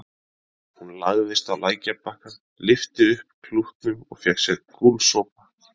Hún lagðist á lækjarbakkann, lyfti upp klútnum og fékk sér gúlsopa.